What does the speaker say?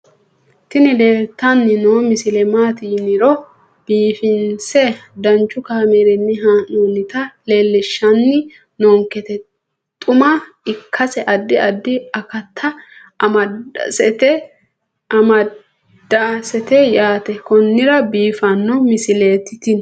tini leeltanni noo misile maaati yiniro biifinse danchu kaamerinni haa'noonnita leellishshanni nonketi xuma ikkase addi addi akata amadaseeti yaate konnira biiffanno misileeti tini